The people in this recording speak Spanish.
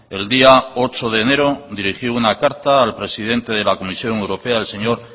el día ocho de enero dirigí una carta al presidente de la comisión europea el señor